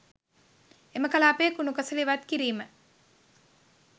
එම කලාපයේ කුණු කසළ ඉවත් කිරීම